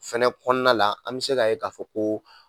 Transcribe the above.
Fɛnɛ kɔnɔna la, an bɛ se k'a ye k'a fɔ ko